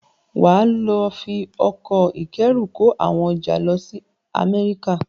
Wàá lọ fi ọkọ̀ ìkóẹrù kó àwọn ọjà lọ sí Amẹ́ríkà.